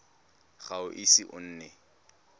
ga o ise o nne